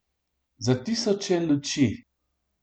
Za tisoče luči.